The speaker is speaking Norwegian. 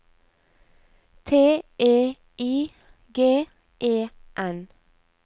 T E I G E N